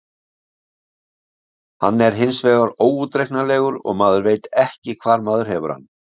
Hann er hinsvegar óútreiknanlegur og maður veit ekki hvar maður hefur hann.